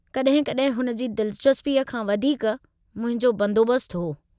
कॾहिं-कॾहिं हुन जी दिलचस्पीअ खां वधीक मुहिंजो बंदोबस्तु हो।